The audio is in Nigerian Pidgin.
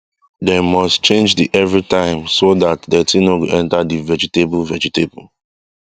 dem must change the everytime so that dirty no go enter the vegetable vegetable